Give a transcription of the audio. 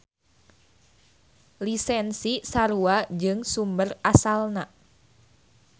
Lisensi sarua jeung sumber asalna.